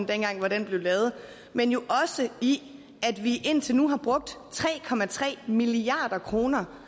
dengang hvor den blev lavet men jo også i at vi indtil nu har brugt tre milliard kroner